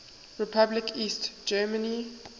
republic east germany